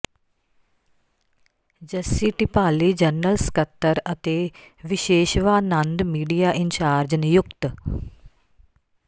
Jassi Dhipali general ਸਕੱਤਰ ਅਤੇ Vishweshwanand media incharge ਨਿਯੁਕਤ